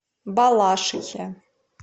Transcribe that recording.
балашихе